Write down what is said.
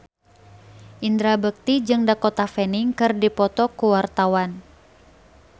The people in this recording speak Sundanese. Indra Bekti jeung Dakota Fanning keur dipoto ku wartawan